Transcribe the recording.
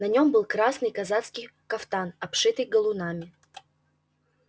на нем был красный казацкий кафтан обшитый галунами